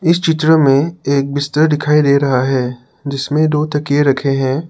इस चित्र में एक बिस्तर दिखाई दे रहा है जिसमें दो तकिए रखे हैं।